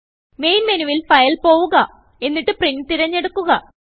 main menu വിൽ Fileപോവുകഎന്നിട്ട് print തിരഞ്ഞെടുക്കുക